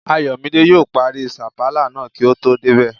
Ayọ̀mídé yóò parí sàpàlà náà kí o tó débẹ̀